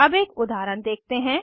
अब एक उदाहरण देखते हैं